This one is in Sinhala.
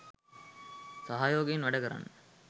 සහයෝගයෙන් වැඩකරන්න.